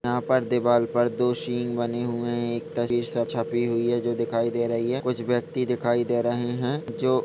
यहाँ पर दीवाल पर दो सींग बने हुए है एक तस्वीर छपी हुई है जो दिखाई दे रही है कुछ व्यक्ति दिखाई दे रहे है जो--